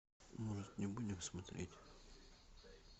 может не будем смотреть